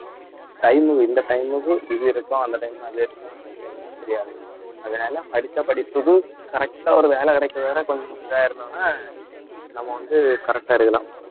time இந்த time க்கு இது இருக்கும் அந்த time அது இருக்கும் அப்பிடின்னு எதுவுமே தெரியாது, அதனால படிச்ச படிப்புக்கு correct ஆ ஒரு வேலை கிடைக்கிறவரை கொஞ்சம் இதாயிருந்தோம்ன்னா நம்ம வந்து correct ஆ இருக்கலாம்